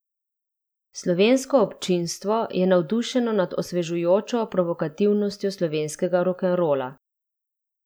Slovensko občinstvo je navdušeno nad osvežujočo provokativnostjo slovenskega rokenrola.